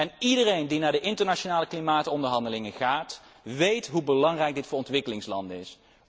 En iedereen die naar de internationale klimaatonderhandelingen gaat, weet hoe belangrijk dit voor ontwikkelingslanden is.